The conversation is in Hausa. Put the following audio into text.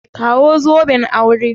Kawo zoben aure.